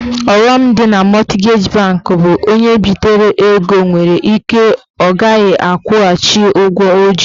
Ọghọm dị na mọtgeji banki bụ onye bitere ego nwere ike ọ ghaghị akwụcha ụgwọ ọ ji.